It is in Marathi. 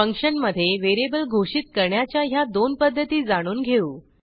फंक्शनमधे व्हेरिएबल घोषित करण्याच्या ह्या दोन पध्दती जाणून घेऊ